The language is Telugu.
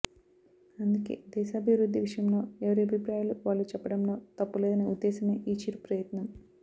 అందుకే దేశాభివృద్ధి విషయంలో ఎవరి అభిప్రాయాలు వాళ్లు చెప్పడంలో తప్పు లేదనే ఉద్దేశమే ఈ చిరు ప్రయత్నం